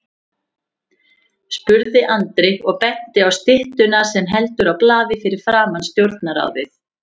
spurði Andri og benti á styttuna sem heldur á blaði fyrir framan Stjórnarráðið.